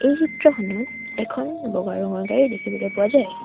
এই চিত্ৰখনত এখন বগা ৰঙৰ গাড়ী দেখিবলৈ পোৱা যায়।